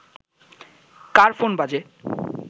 কার phone বাজে